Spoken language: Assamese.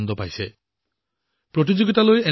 প্ৰতিযোগিতাখনত প্ৰৱেশ কৰা এনে প্ৰবিষ্টিৰ তালিকা বহুত দীঘল